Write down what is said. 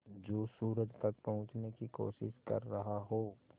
जो सूरज तक पहुँचने की कोशिश कर रहा हो